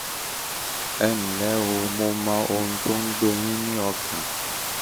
ẹ ǹlẹ́ o mo mọ ohun tó ń gbé yín lọ́kàn